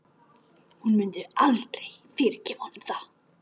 Hún myndi aldrei fyrirgefa honum það.